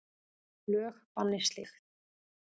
Lög banni slíkt.